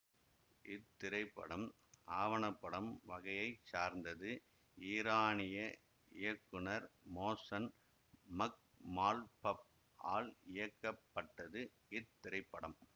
இத்திரைப்படம் ஆவண படம் வகையை சார்ந்தது ஈரானிய இயக்குனர் மோசன் மக்மால்பஃப் ஆல் இயக்கப்பட்டது இத்திரைப்படம்